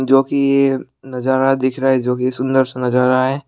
जो कि ये नजारा दिख रहा है जो की सुंदर सा नजारा है।